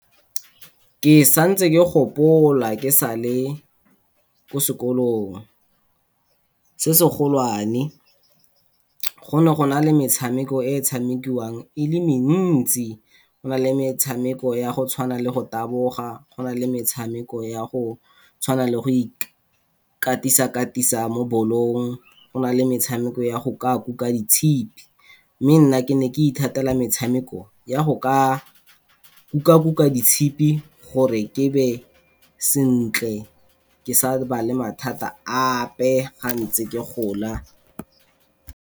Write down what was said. Ke sa ntse ke gopola ke sa le kwa sekolong, se se golwane. Go ne gona le metshameko e e tshamekiwang e le mentsi. Go na le metshemeko ya go tshwana le go taboga, go na le metshameko ya go tshwana le go ikatisa-katisa mo ball-ong. Go na le metshameko ya go kuka ditshipi mme nna ke ne ke ithatela metshameko ya go kuka-kuka ditshipi gore ke nne sentle ke sa ba le mathata ape ga ntse ke gola.